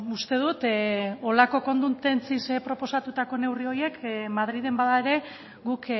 uste dut holako konduntentziz proposatutako neurri horiek madrilen bada ere guk